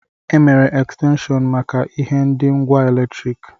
E mere Ekstenshọnu maka ihe ndi ngwa eletriki.